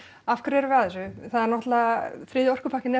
af hverju erum við að þessu það er náttúrulega þriðji orkupakkinn er